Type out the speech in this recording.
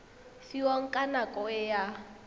fiwang ka nako e a